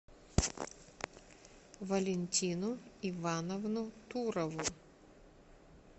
валентину ивановну турову